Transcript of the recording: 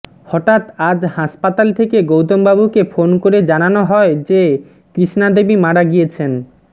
হঠাৎ আজ হাসপাতাল থেকে গৌতমবাবুকে ফোন করে জানানো হয় যে কৃষ্ণা দেবী মারা গিয়েছেন